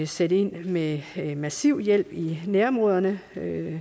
sætte ind med massiv hjælp i nærområderne